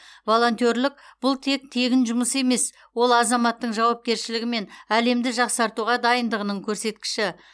волонтерлік бұл тек тегін жұмыс емес ол азаматтың жауапкершілігі мен әлемді жақсартуға дайындығының көрсеткіші